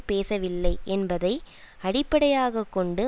பேசவில்லை என்பதை அடிப்படையாக கொண்டு